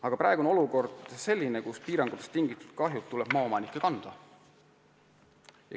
Aga praegu on olukord selline, et piirangutega kaasnev kahju tuleb maaomanikel kanda.